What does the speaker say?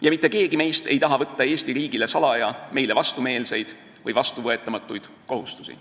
Ja mitte keegi meist ei taha salaja võtta Eesti riigile meile vastumeelseid või vastuvõetamatud kohustusi.